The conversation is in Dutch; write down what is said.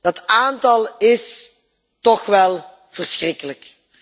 Dat aantal is toch wel verschrikkelijk.